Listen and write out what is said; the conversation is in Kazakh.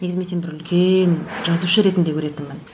негізі мен сені бір үлкен жазушы ретінде көретінмін